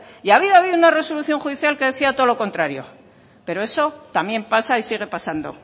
y había habido una resolución judicial que decía todo lo contrario pero eso también pasa y sigue pasando